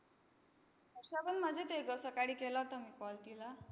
हर्षा पण मजेत आहे गं. सकाळी केला होता मी call तिला.